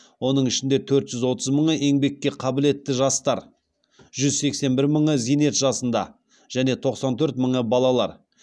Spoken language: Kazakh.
оның ішінде төрт жүз отыз мыңы еңбекке қабілетті жастар жүз сексен бір мыңы зейнет жасында және тоқсан төрт мыңы балалар